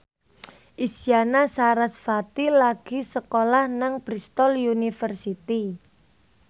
Isyana Sarasvati lagi sekolah nang Bristol university